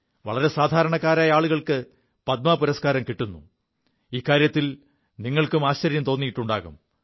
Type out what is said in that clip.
വളരെ സാധാരണക്കാരായ ആളുകൾക്ക് പദ്മ പുരസ്കാരം കിുു എതിൽ നിങ്ങൾക്കും ആശ്ചര്യം തോിയിുണ്ടാകും